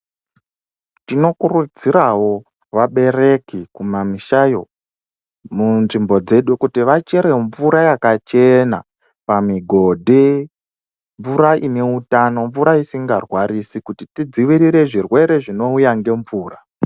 Tinokurudzirawo vabereki kumamishayo munzvimbo dzedu kuti vachere mvura yakachena pamigodhi, mvura ineutano, mvura isingwarwarisi kuti tidzivirire zvirwere zvinouya ngemvura.